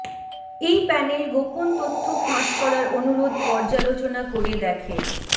এই প্যানেল গোপন তথ্য ফাঁস করার অনুরোধ পর্যালোচনা করে দেখে